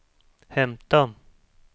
hämta